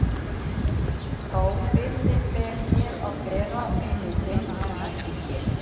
Þá byrði ber mér að bera vinur minn en ekki þér.